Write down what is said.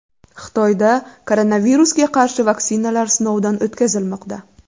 Xitoyda koronavirusga qarshi vaksinalar sinovdan o‘tkazilmoqda.